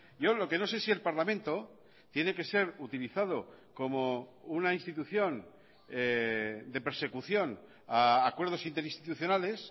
yo lo que no sé si el parlamento tiene que ser utilizado como una institución de persecución a acuerdos interinstitucionales